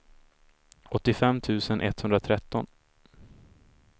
åttiofem tusen etthundratretton